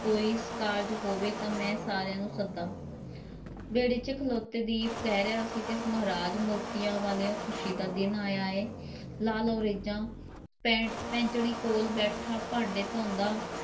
ਕੋਈ ਕਾਰਜ ਹੋਵੇ ਤਾਂ ਮੈਂ ਸਾਰਿਆਂ ਨੂੰ ਸੱਦਾਂ ਵਿਹੜੇ ‘ਚ ਖਲੋਤਾ ਦੀਪ ਕਹਿ ਰਿਹਾ ਸੀ ਤੇ ਮਹਾਰਾਜ ਮੋਤੀਆਂ ਵਾਲ਼ਿਓ ਖੁਸ਼ੀ ਦਾ ਦਿਨ ਆਇਆ ਹੈ ਲਾਹ ਲਓ ਰੀਝਾਂ, ਪੈਂ~ ਪੈਂਚਣੀ ਕੋਲ਼ ਬੈਠਾ ਭਾਂਡੇ ਧੋਦਾ